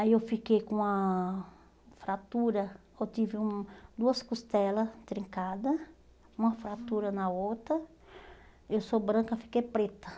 Aí eu fiquei com uma fratura, eu tive um duas costelas trincada, uma fratura na outra, eu sou branca, fiquei preta.